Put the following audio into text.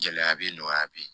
Gɛlɛya bɛ yen nɔgɔya bɛ yen